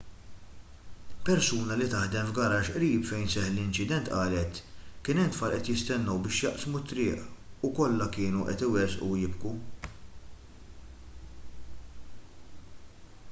persuna li taħdem f'garaxx qrib fejn seħħ l-inċident qalet kien hemm tfal qed jistennew biex jaqsmu t-triq u kollha kienu qed iwerżqu u jibku